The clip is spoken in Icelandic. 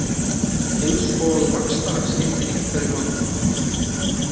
Eins og vaxtalag skipti einhverju máli.